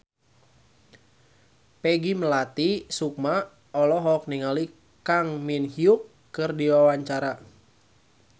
Peggy Melati Sukma olohok ningali Kang Min Hyuk keur diwawancara